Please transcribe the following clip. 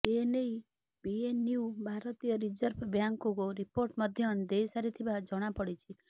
ଏ ନେଇ ପିଏନ୍ବି ଭାରତୀୟ ରିଜର୍ଭ ବ୍ୟାଙ୍କକୁ ରିପୋର୍ଟ ମଧ୍ୟ ଦେଇ ସାରିଥିବା ଜଣା ପଡ଼ିଛି